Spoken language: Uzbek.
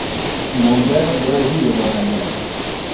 Bunda Braziliya yordam beradi.